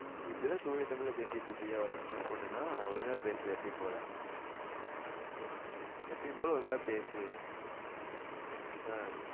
இப்பிடித்தான் தூய தமிழ்ல பேசிட்டு இருப்பியோ தமிழ் miss பொண்ணுன ஒழுங்கா பேசு எப்பயும் போல எப்பயும் போல ஒழுங்கா பேசு ஆஹ்